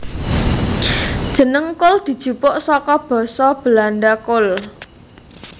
Jeneng kul dijupuk saka basa Belanda kool